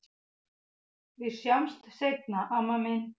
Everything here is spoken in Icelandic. Við sjáumst seinna, amma mín.